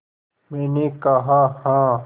मैंने कहा हाँ